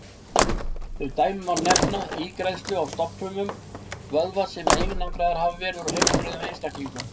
Sem dæmi má nefna ígræðslu á stofnfrumum vöðva sem einangraðar hafa verið úr heilbrigðum einstaklingum.